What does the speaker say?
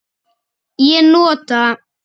Ég nota